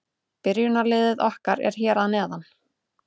Byrjunarliðið okkar er hér að neðan.